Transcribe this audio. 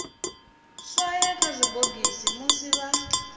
swaye kha zwibogisi musi vha